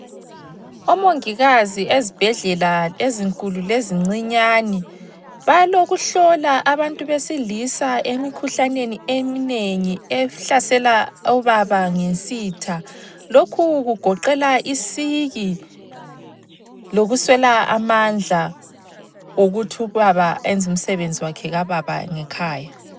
Omongikazi ezibhedlela ezinkulu lezincinyani balokuhlola abantu besilisa emikhuhlaneni eminengi ehlasela obaba ngesitha, lokhu kugoqela isiki lokuswela amandla okuthi ubaba ayenze umsebenzi wakhe kababa ngekhaya.